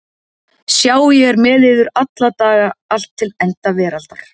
Sjá ég er með yður alla daga allt til enda veraldar.